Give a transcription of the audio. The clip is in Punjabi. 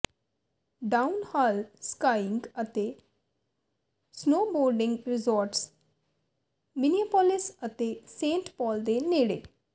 ਡਾਊਨਹਾਲ ਸਕਾਈਿੰਗ ਅਤੇ ਸਨੋਬੋਰਡਿੰਗ ਰਿਜ਼ੌਰਟਜ਼ ਮਿਨੀਏਪੋਲਿਸ ਅਤੇ ਸੇਂਟ ਪੌਲ ਦੇ ਨੇੜੇ